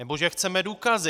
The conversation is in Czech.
Nebo že "chceme důkazy".